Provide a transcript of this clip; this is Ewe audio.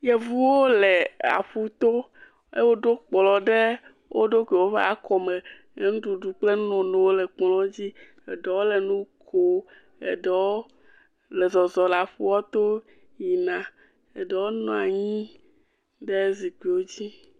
Yevuwo le aƒu to, woɖo kplɔ ɖe wo ɖokuiwo ƒe akɔme le nuɖuɖuwo le kplɔwo dzi eɖewo le nu kom eɖewo le zɔzɔm le aƒua to yina, eɖewo nɔ anyi ɖe zikpuiwo dzi.